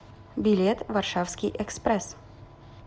билет варшавский экспресс